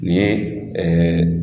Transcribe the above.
Ni